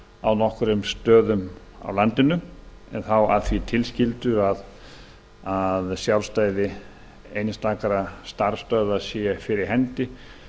á nokkrum stöðum á landinu en þá að því tilskildu að sjálfstæði einstakra starfsstöðva sé fyrir hendi